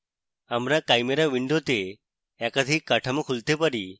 আমরা chimera window তে একাধিক কাঠামো খুলতে পারি